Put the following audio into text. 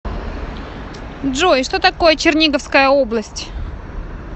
джой что такое черниговская область